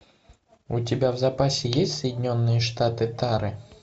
у тебя в запасе есть соединенные штаты тары